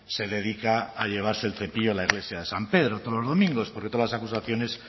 se dedica a llevarse el cepillo la iglesia de san pedro todos los domingos porque todas las acusaciones